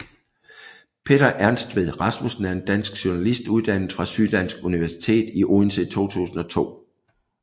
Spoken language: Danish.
Peter Ernstved Rasmussen er en dansk journalist uddannet fra Syddansk Universitet i Odense i 2002